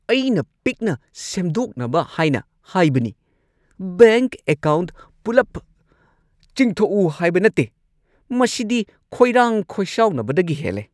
ꯑꯩꯅ ꯄꯤꯛꯅ ꯁꯦꯝꯗꯣꯛꯅꯕ ꯍꯥꯏꯅ ꯍꯥꯏꯕꯅꯤ, ꯕꯦꯡꯛ ꯑꯦꯀꯥꯎꯟꯠ ꯄꯨꯜꯂꯞ ꯆꯤꯡꯊꯣꯛꯎ ꯍꯥꯏꯕ ꯅꯠꯇꯦ! ꯃꯁꯤꯗꯤ ꯈꯣꯏꯔꯥꯡ-ꯈꯣꯏꯁꯥꯎꯅꯕꯗꯒꯤ ꯍꯦꯜꯂꯦ꯫